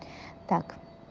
так